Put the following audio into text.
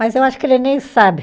Mas eu acho que ele nem sabe.